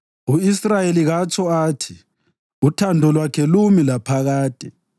U-Israyeli katsho athi: “Uthando lwakhe lumi laphakade.”